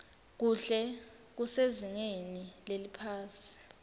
kuhle kusezingeni leliphasi